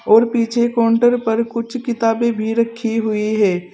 और पीछे काउंटर पर कुछ किताबें भी रखी हुई है।